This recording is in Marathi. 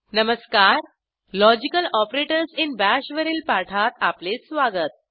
नमस्कारLogical ऑपरेटर्स इन बाश वरील पाठात आपले स्वागत